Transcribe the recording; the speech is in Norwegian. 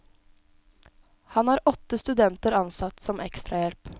Han har åtte studenter ansatt som ekstrahjelp.